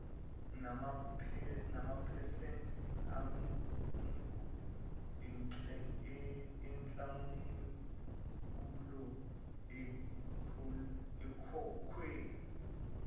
namaphesenti anguenhlawulo ekhokhwe